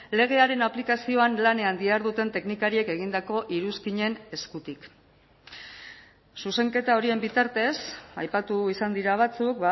legearen aplikazioan lanean diharduten teknikariek egindako iruzkinen eskutik zuzenketa horien bitartez aipatu izan dira batzuk